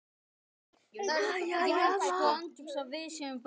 Ég gleymi honum aldrei.